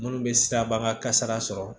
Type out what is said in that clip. Munnu bɛ siraba kasara sɔrɔ